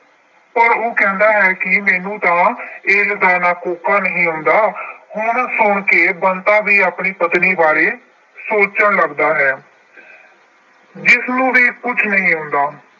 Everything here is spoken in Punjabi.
ਪਰ ਉਹ ਕਹਿੰਦਾ ਹੈ ਕਿ ਮੈਨੂੰ ਤਾਂ ਏਸ ਦਾ ਕੋਕਾ ਵੀ ਨਹੀਂ ਆਉਂਦਾ। ਹੁਣ ਸੁਣ ਕੇ ਬੰਤਾ ਵੀ ਆਪਣੀ ਪਤਨੀ ਬਾਰੇ ਸੋਚਣ ਲੱਗਦਾ ਹੈ। ਜਿਸਨੂੰ ਵੀ ਕੁਛ ਨਹੀਂ ਆਉਂਦਾ।